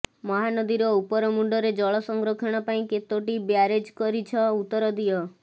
ମହାନଦୀର ଉପରମୁଣ୍ଡରେ ଜଳ ସଂରକ୍ଷଣ ପାଇଁ କେତୋଟି ବ୍ୟାରେଜ୍ କରିଛ ଉତ୍ତର ଦିଅ